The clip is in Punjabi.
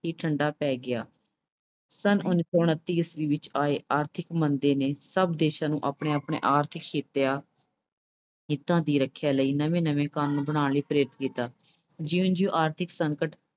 ਹੀ ਠੰਢਾ ਪੈ ਗਿਆ। ਸੰਨ ਉਨੀ ਸੌ ਉਨੱਤੀ ਈਸਵੀ ਵਿੱਚ ਆਈ ਆਰਥਿਕ ਮੰਦੀ ਨੇ ਸਭ ਦੇਸ਼ਾਂ ਨੂੰ ਆਪਣੇ ਆਪਣੇ ਆਰਥਿਕ ਹਿੱਤਾ ਅਹ ਹਿੱਤਾਂ ਦੀ ਰੱਖਿਆ ਲਈ ਨਵੇਂ ਨਵੇਂ ਕਾਨੂੰਨ ਬਣਾਉਣ ਲਈ ਪ੍ਰੇਰਿਤ ਕੀਤਾ। ਜਿਉਂ ਜਿਉਂ ਆਰਥਿਕ ਸੰਕਟ